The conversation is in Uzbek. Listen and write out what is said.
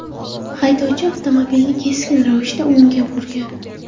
Haydovchi avtomobilni keskin ravishda o‘ngga burgan.